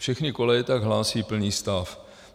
Všechny koleje tak hlásí plný stav.